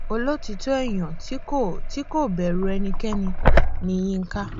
olótìtọ èèyàn tí kò tí kò bẹrù ẹnikẹni ni yinka